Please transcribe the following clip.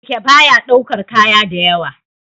Keke baya ɗaukar kaya da yawa